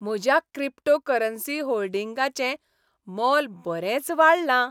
म्हज्या क्रिप्टोकरन्सी होल्डिंगांचें मोल बरेंच वाडलां.